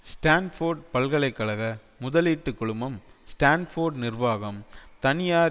Stanford பல்கலை கழக முதலீட்டு குழுமம் ஸ்டான்போர்டு நிர்வாகம் தனியார்